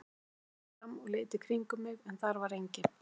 Ég steig varlega fram og leit í kringum mig en þar var enginn.